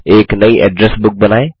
एक नयी address book बनाएँ